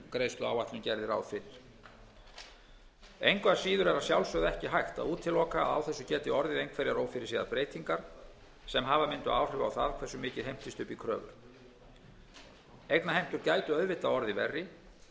fyrir engu að síður er að sjálfsögðu ekki hægt að útiloka að á þessu geti orðið einhverjar ófyrirséðar breytingar sem hafa mundu áhrif á það hversu mikið heimtist upp í kröfur eignaheimtur gætu auðvitað orðið verri ef